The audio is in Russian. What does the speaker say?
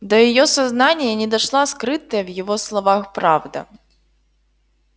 до её сознания не дошла скрытая в его словах правда